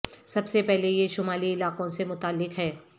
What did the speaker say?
سب سے پہلے یہ شمالی علاقوں سے متعلق ہے